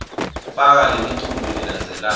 faka lemiculu lelandzelako